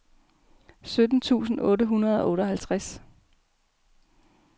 sytten tusind otte hundrede og otteoghalvtreds